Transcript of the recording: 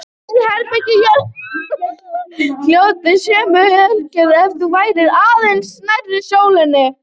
Ef til vill hefði jörðin hlotið sömu örlög ef hún væri aðeins nær sólinni.